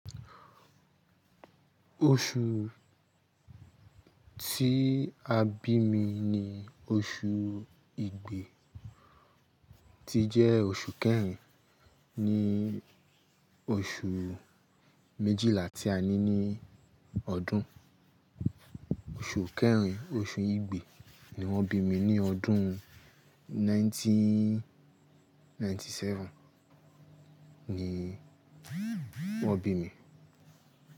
Oṣù tí a bí mi ni oṣù igbe tí jẹ́ oṣù kẹrin ní oṣù méjìlá tí a ní ní ọdún. Oṣù kẹrin, oṣù igbe ni wọ́n bí mi ní ọdún 1997 ni wọ́n bí mi.